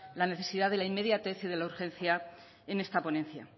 necesidad de la inmediatez y de la urgencia en esta ponencia